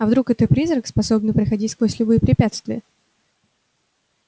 а вдруг это призрак способный проходить сквозь любые препятствия